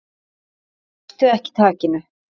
Slepptu ekki takinu.